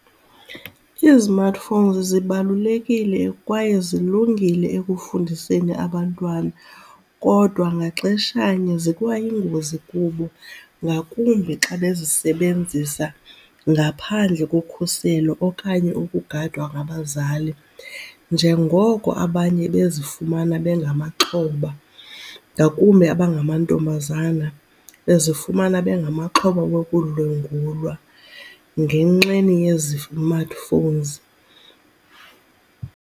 Izimatifowuni zibalulekile kwaye zilungile ekufundiseni abantwana kodwa ngaxeshanye zikwayingozi kubo ngakumbi xa bezisebenzisa ngaphandle kokhuselo okanye ukugadwa ngabazali njengoko abanye bezifumana bengamaxhoba ngakumbi aba ngamantombazana, bezifumana bengamaxhoba wokudlwengulwa ngenxeni yezimatifowunzi.